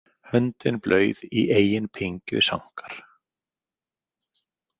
Höndin blauð í eigin pyngju sankar.